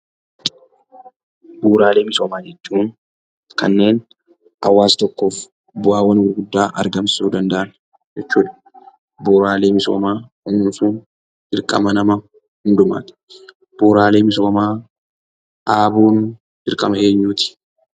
Bu'uuraalee misoomaa jechuun kanneen hawaasa tokkoof bu'aawwan gurguddaa argamsiisuu danda'an jechuudha. Bu'uuraalee misoomaa misoomsuun dirqama nama hundumaati. Bu'uuraalee misoomaa dhaabuun dirqama eenyuuti?